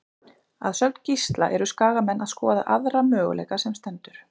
Að sögn Gísla eru Skagamenn að skoða aðra möguleika sem stendur.